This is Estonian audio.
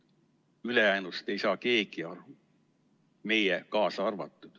Ülejäänust ei saa keegi aru, meie kaasa arvatud.